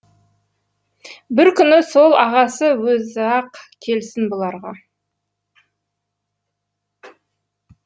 бір күні сол ағасы өзі ақ келсін бұларға